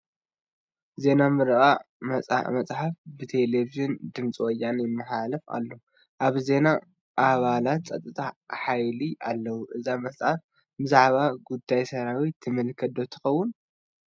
ዜና ምርቓ መፅሓፍ ብቴለብዥን ድምፂ ወያነ ይመሓላለፍ ኣሎ፡፡ ኣብዚ ዜና ኣባላት ፀጥታ ሓይሊ ኣለዉ፡፡ እዛ መፅሓፍ ብዛዕባ ጉዳይ ሰራዊት ትምልከት ዶ ትኸውን?